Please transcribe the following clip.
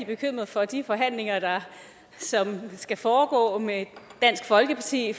bekymret for de forhandlinger som skal foregå med dansk folkeparti